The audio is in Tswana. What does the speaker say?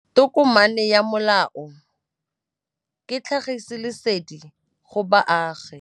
Tokomane ya molao ke tlhagisi lesedi go baagi.